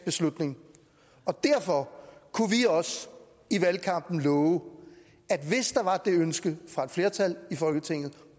beslutning og derfor kunne vi også i valgkampen love at hvis der var det ønske fra et flertal i folketinget